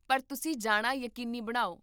ਪਰ ਤੁਸੀਂ ਜਾਣਾ ਯਕੀਨੀ ਬਣਾਓ